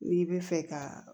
N'i bɛ fɛ ka